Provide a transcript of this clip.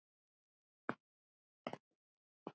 Hún er ekki þannig.